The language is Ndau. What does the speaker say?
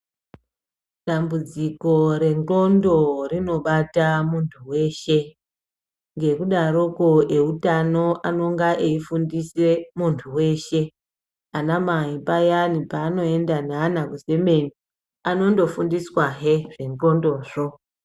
Dambudziko rendxondo rinobata muntu veshe, ngekudaroko eutano anonga eifundise muntu veshe. Anamai payani panoenda neana kuzemeni anondofundiswahe zvendxondozvo.